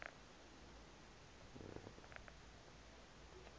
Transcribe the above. yn cheshaght ghailckagh